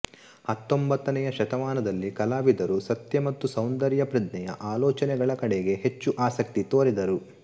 ಹತ್ತೊಂಬತ್ತನೆಯ ಶತಮಾನದಲ್ಲಿ ಕಲಾವಿದರು ಸತ್ಯ ಮತ್ತು ಸೌಂದರ್ಯ ಪ್ರಜ್ಞೆಯ ಆಲೋಚನೆಗಳ ಕಡೆಗೆ ಹೆಚ್ಚು ಆಸಕ್ತಿ ತೋರಿದರು